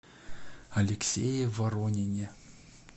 алексее воронине